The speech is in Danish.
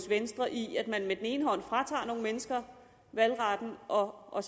venstre i at man fratager nogle mennesker valgretten og og